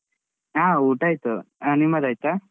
ಆ ಊಟ ಆಯ್ತು. ಆ ನಿಮ್ಮದಾಯ್ತಾ?